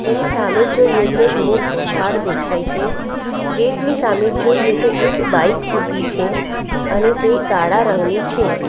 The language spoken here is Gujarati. એની સામે જોઈએ તો એક મોટું ઝાડ દેખાય છે ગેટ ની સામે જોઈએ તો એક બાઈક ઊભી છે અને તે કાળા રંગની છે.